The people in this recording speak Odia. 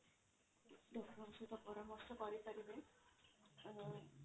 doctor ଙ୍କ ସହିତ ପରାମର୍ଶ କରିପାରିବେ ଅ